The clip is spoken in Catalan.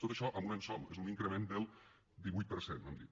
tot això en un any sol és un increment del divuit per cent hem dit